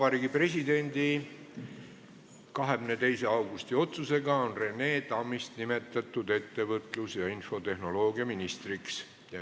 Vabariigi Presidendi 22. augusti otsusega on Rene Tammist nimetatud ettevõtlus- ja infotehnoloogiaministriks.